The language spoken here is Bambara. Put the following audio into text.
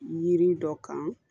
Yiri dɔ kan